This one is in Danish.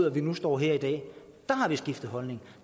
at vi nu står her i dag har vi skiftet holdning